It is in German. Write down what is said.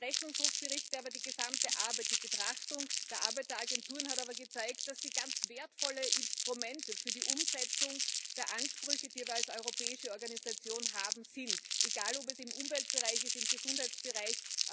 Die Rechnungshofberichte aber, die gesamte Arbeit, die Betrachtung der Arbeitsagenturen hat gezeigt, dass sie ganz wertvolle Instrumente für die Umsetzung der Ansprüche, die wir als europäische Organisation haben, sind egal ob es im Umweltbereich ist oder im Gesundheitsbereich.